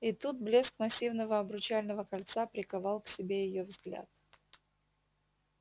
и тут блеск массивного обручального кольца приковал к себе её взгляд